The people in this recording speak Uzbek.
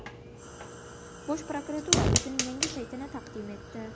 Bosh prokuratura o‘zining yangi saytini taqdim etdi.